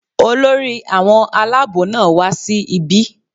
Olórí àwọn alábò náà wá sí ibí